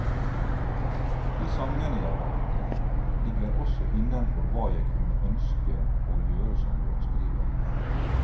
De sangene jeg valgte ligger også innenfor hva jeg kunne ønske å gjøre som låtskriver.